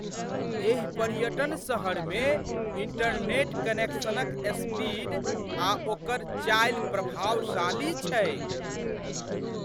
एहि पर्यटन शहरमे इंटरनेट कनेक्शनक स्पीड आ ओकर चालि प्रभावशाली छैक।